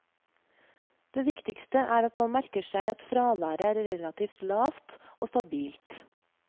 Det viktigste er at man merker seg at fraværet er relativt lavt og stabilt.